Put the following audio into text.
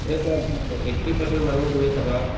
এতিয়া চাৱা eighty percent মানুহক তুমি চাবা